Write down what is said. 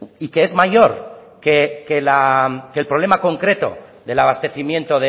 y que es mayor que el problema concreto del abastecimiento